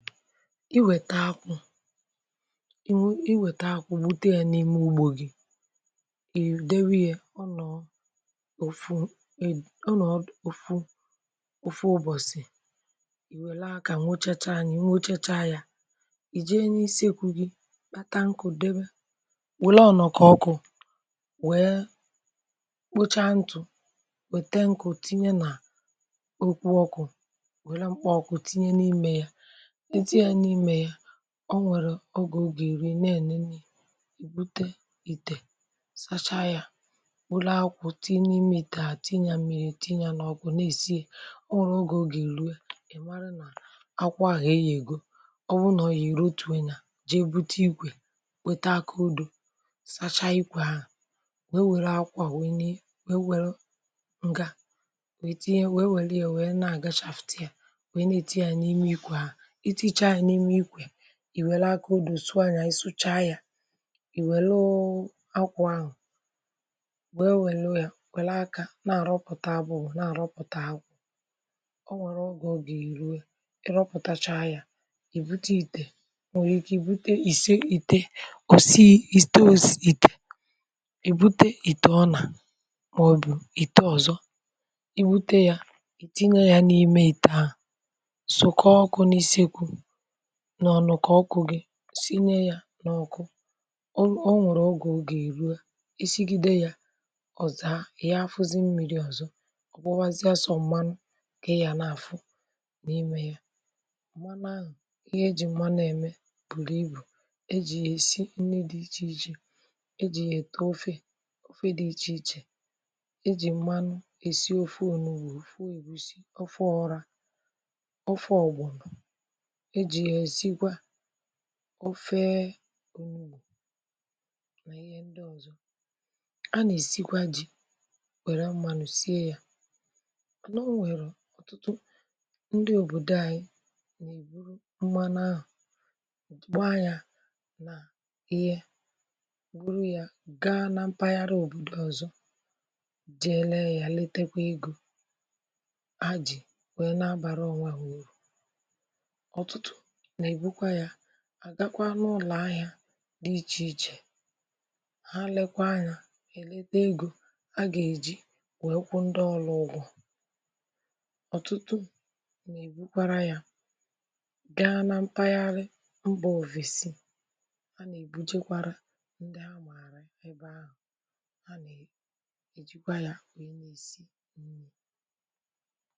i wète akwụ̇ i wète akwụ̇ bute ya n’ime ugbȯ gị̇ ìdewe ya ọ nọ̀ọ ofu ọ nọ̀ọ ofu ofu ụbọ̀sị̀ i wère akà nwụchacha ya, i nwụchacha ya i jee n’isi ekwu gị̇ kpatankù debe wèle ọ̀nọ̀kọ̀ ọkụ̇ wèe kpụcha ntụ̀ wète nkụ̀ tinye nà okwu ọkụ̇ wète mkpà ọkụ̀ tinye n’ime ya, itinye n’ime ya ọ nwèrè ogè ọ gà èru i na-ènene ibute ìtè sacha ya bulu akwụ̀ tinye n'ime ìtè a tinye mmiri tinye n’ọkụ̀ na-èsi ya o nwèrè ogè ọ gà èru ìmara nà akwụ ahụ̀ eyègo ọ bụna ọ̀ yèe erotuo ya jee bute ikwè wèta akuudo sacha ikwė ahu wee wère akwua wèe nà wee welu ǹga wee tinye wee welu ya wère yė wèe na-àgachaftì a wee nà èti ya n’ime ikwė ahu, itinyechaa ya n'ime ikwe, i wele akuudo sua ya isucha ya i welee akwụ̀ ahụ̀ wee welu ya, wela akà na-arọpụta, na-arọpụta akwụ̀ ọ nwere oge ọ gà-èruwe i rọpụ̀tacha ya i bute ìtè inwerike ibute ise ìtè i bute ìtè òsi ìtè i bute ìtè ọnà maòbù itè ọzọ i bute ya i tinye ya n’ime ìtè ahụ̇ sụ̇kọ ọkụ̇ n'isi ekwu n’ọnọ̀kà ọkụ̇ gị sinye ya n’ọkụ o nwèrè ogè ọga erua, esigide ya ọ̀za ịyafuzi mmiri ọ̀zọ ọ̀kpụwazịa sọ m̀manụ ka ị ga n’àfụ n’imė ya m̀manụ ahụ̀ ihe e jì m̀manụ ème bùrù ibù e jì yà-èsi nri dị ichè ichè e jì yà-ète ofe ofe dị ichè ichè e jì m̀manụ è si ofe ònubù ofe ègusi, ofe ọrȧ ofe ọ̀gbọnọ eji ya esikwa ofee onubu na ihe ndị ọzọ a na-esikwa ji were mmanụ sie ya mana o nwere ọtụtụ ndị obodo anyị na-eburu mmanụ ahụ ọ gbaa ya na ihe buru ya ga na mpaghara obodo ọzọ jee lee ya letekwa ego ha ji wee na-abara ọnwe ha ụrụ ọtụtụ nà-èbukwa yȧ àgakwa n’ụlọ̀ ahị̇ȧ dị ichè ichè ha lekwa ya ha èleta egȯ a gà-èji wèe kwụ ndị ọlụ ụgwọ̇ ọ̀tụtụ nà-èbukwara yȧ gaa na mpaghara mbà òfèsi a nà-èbujekwara ndị amàrà ebe ahụ̀ a nà-èjikwa yȧ nwèe na-èsi